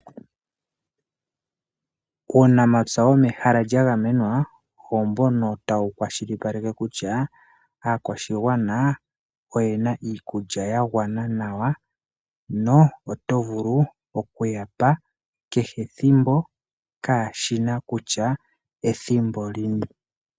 Uunamapya womehala lya gamenwa oombono tawu kwashilipaleke kutya aakwashigwana oye na iikulya ya gwana nawa no oto vulu oku yapa keshe ethimbo kashina kutya ethimbo lini.